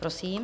Prosím.